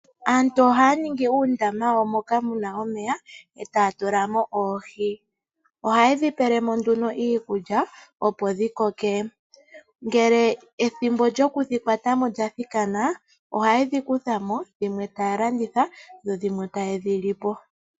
Aantu ohaya ningi uundama moka muna omeya etaya tula mo oohi ohaye dhi pele mo iikulya opo dhikoke ngele ethimbo lyokudhi kutha mo lyathiki ohaye dhi kutha mo dhimwe taya landitha dho dhimwe taye dhi li po.